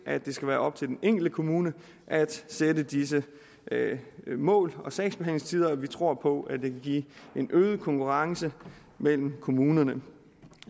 at det skal være op til den enkelte kommune at sætte disse mål for sagsbehandlingstider og vi tror på at det kan give en øget konkurrence mellem kommunerne